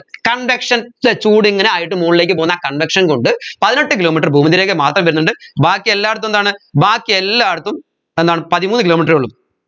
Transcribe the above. conduction അല്ലെ ചൂട് ഇങ്ങനെയായിട്ട് മോളിലേക്ക് പോവുന്ന conduction കൊണ്ട് പതിനെട്ട് kilometre ഭൂമദ്ധ്യരേഖ മാത്രം വരുന്നുണ്ട് ബാക്കിയെല്ലായിടത്തും എന്താണ് ബാക്കിയെല്ലായിടത്തും എന്താണ് പതിമൂന്ന് kilometre എ ഉള്ളു